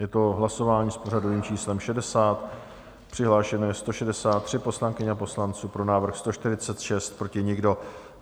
Je to hlasování s pořadovým číslem 60, přihlášeno je 163 poslankyň a poslanců, pro návrh 146, proti nikdo.